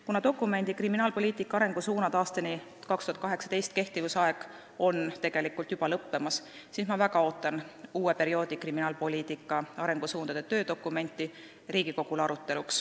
Kuna dokumendi "Kriminaalpoliitika arengusuunad aastani 2018" kehtimise aeg on tegelikult juba lõppemas, siis ma väga ootan uue perioodi kriminaalpoliitika arengusuundade töödokumenti, mida Riigikogu saaks arutada.